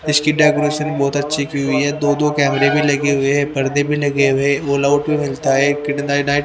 इसकी डेकोरेशन बहोत अच्छी हुई है दो दो कैमरे भी लगे हुए हैं पर्दे भी लगे हुए ऑल आउट भी मिलता है किड ना नाइ --